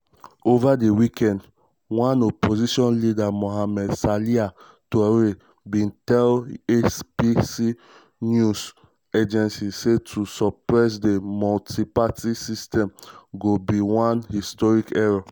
over di weekend one opposition leader mohamed salia touré bin tell afp news agency say to suppress di multi-party system go be one "historic error".